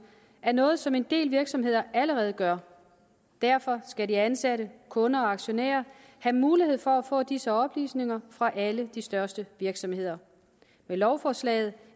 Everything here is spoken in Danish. er noget som en del virksomheder allerede gør derfor skal de ansatte kunder og aktionærer have mulighed for at få disse oplysninger fra alle de største virksomheder med lovforslaget